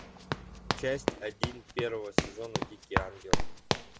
часть один первого сезона дикий ангел